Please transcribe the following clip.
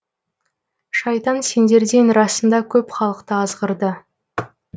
шайтан сендерден расында көп халықты азғырды